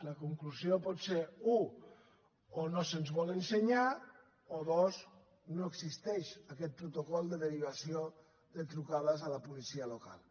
la conclusió pot ser u o no se’ns vol ensenyar o dos no existeix aquest protocol de derivació de trucades a la policia local